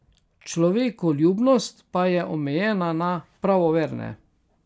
Človekoljubnost pa je omejena na pravoverne.